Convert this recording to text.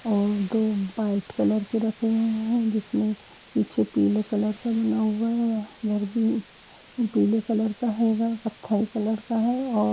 और दो white colour के रखे हुए है जिसमे पीछे पीले कलर का बना हुआ है। उधर भी पिले कलर का है। इधर कथयी कलर का है और --